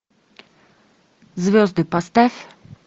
звезды поставь